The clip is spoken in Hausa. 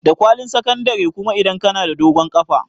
Da kwalin sakandare kuma idan ka na da dogon ƙafa